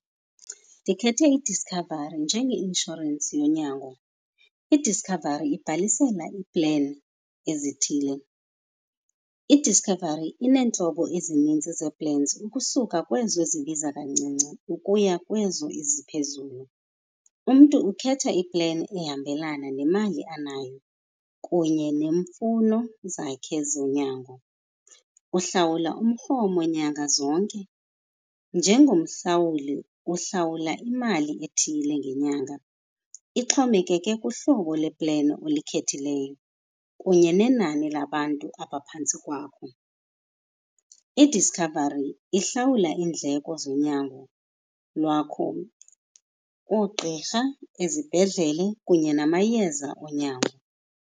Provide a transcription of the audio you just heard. Ndikhethe iDiscovery njenge-inshorensi yonyango. IDiscovery ibhalisela iipleni ezithile. IDiscovery ineentlobo ezinintsi zee-plans ukusuka kwezo zibiza kancinci ukuya kwezo eziphezulu. Umntu ukhetha ipleni ehambelana nemali anayo kunye neemfuno zakhe zonyango. Uhlawula umrhumo nyanga zonke, njengomhlawuli uhlawula imali ethile ngenyanga, ixhomekeke kuhlobo lepleni olikhethileyo kunye nenani labantu abaphantsi kwakho. IDiscovery ihlawula iindleko zonyango lwakho, oogqirha, izibhedlele kunye namayeza onyango.